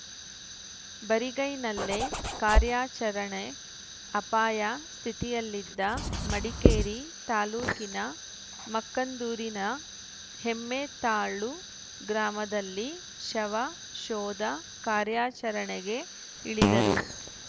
ಬರಿಗೈನಲ್ಲೇ ಕಾರ್ಯಾಚರಣೆ ಅಪಾಯ ಸ್ಥಿತಿಯಲ್ಲಿದ್ದ ಮಡಿಕೇರಿ ತಾಲೂಕಿನ ಮಕ್ಕಂದೂರಿನ ಹೆಮ್ಮೆತ್ತಾಳು ಗ್ರಾಮದಲ್ಲಿ ಶವ ಶೋಧ ಕಾರ್ಯಾಚರಣೆಗೆ ಇಳಿದರು